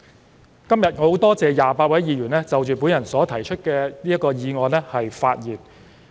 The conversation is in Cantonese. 我今天很感謝28位議員就我所提出的議案發言。